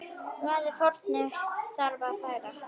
Hvaða fórnir þarf að færa?